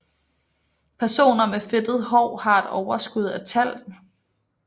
Personer med fedtet hår har et overskud af talg